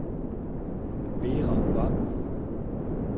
Vera Vang